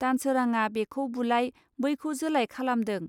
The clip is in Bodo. दानसोरांआ बेखौ बुलाय, बैखौ जोलाय खालामदों